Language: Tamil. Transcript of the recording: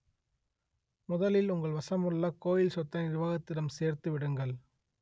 முதலில் உங்கள் வசமுள்ள கோயில் சொத்தை நிர்வாகத்திடம் சேர்த்து விடுங்கள்